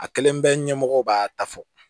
A kelen bɛɛ ɲɛmɔgɔw b'a ta fɔ